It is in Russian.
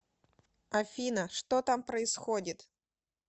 афина что там происходит